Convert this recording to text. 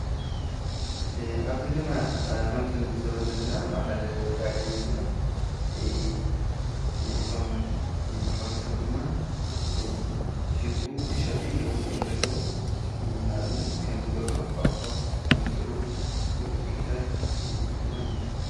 ኣብዚ ድማ ኸምቲ ንዕ ዝበ ዘለና ማኸል ዳጋይእዮ እቶም መሓብሪ ሰብ ድማ ይሽጡ ይሸጡ ልዉጥ እየም ዘለዉ ንእብነት ከምደሮ ጓቕሖ ኣመሰሉ ዕዲጊታት ድማን እዩ።